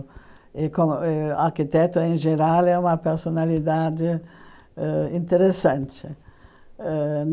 E como ãh arquiteto, em geral, é uma personalidade ãh interessante. Ãh